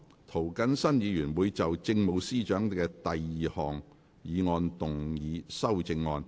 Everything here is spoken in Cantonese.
涂謹申議員會就政務司司長的第二項議案動議修訂議案。